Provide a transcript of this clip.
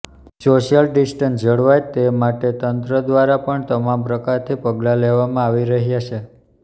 social distance જળવાય તે માટે તંત્ર દ્વારા પણ તમામ પ્રકારથી પગલા લેવામાં આવી રહ્યા છે